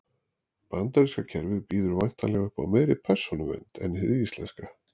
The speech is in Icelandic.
Bandaríska kerfið býður væntanlega upp á meiri persónuvernd en hið íslenska.